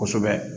Kosɛbɛ